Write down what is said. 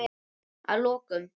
Að lokum.